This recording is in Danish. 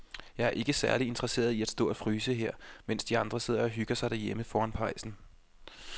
Jeg er ikke særlig interesseret i at stå og fryse her, mens de andre sidder og hygger sig derhjemme foran pejsen.